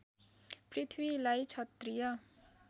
पृथ्वीलाई क्षत्रिय